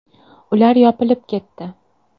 Ular yopilib ketdi.